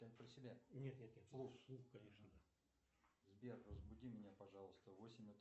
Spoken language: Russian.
сбер разбуди меня пожалуйста в восемь